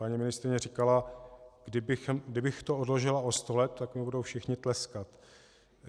Paní ministryně říkala - kdybych to odložila o sto let, tak mi budou všichni tleskat.